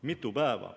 Mitu päeva.